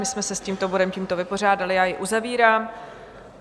My jsme se s tímto bodem tímto vypořádali, já jej uzavírám.